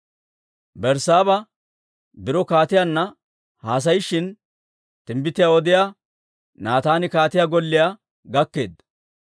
Berssaaba biro kaatiyaanna haasayishin, timbbitiyaa odiyaa Naataani kaatiyaa golliyaa gakkeedda.